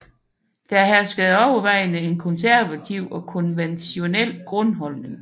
Der herskede overvejende en konservativ og konventionel grundholdning